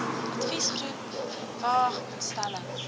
adviesgroep vwag instelling